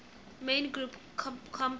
main group compounds